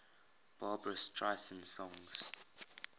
barbra streisand songs